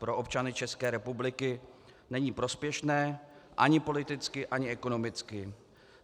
Pro občany České republiky není prospěšné ani politicky ani ekonomicky.